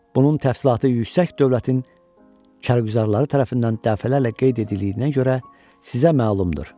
Bunun təfərrüatı yüksək dövlətin kərküzarları tərəfindən dəfələrlə qeyd edildiyinə görə sizə məlumdur.